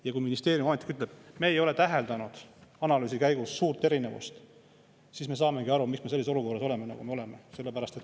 Ja kui ministeeriumi ametnik ütleb, et nad ei ole täheldanud analüüsi käigus suurt erinevust, siis me saamegi aru, miks me oleme sellises olukorras, nagu me oleme.